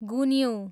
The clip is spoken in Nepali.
गुन्यु